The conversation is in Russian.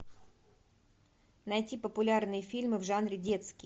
найти популярные фильмы в жанре детский